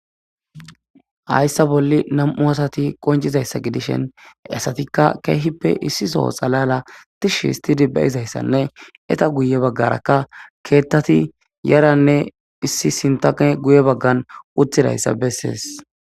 Hayssa bolli nam77u asati qonccizayssa gidishin istappekka issito xalala deshitidi ettappe guye bagara yeranne guye bagan uttidayssa besses.